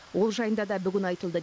ол жайында да бүгін айтылды